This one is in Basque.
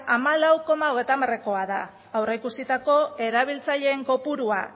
hamalau koma hogeita hamarekoa da aurreikusitako erabiltzaileen kopurua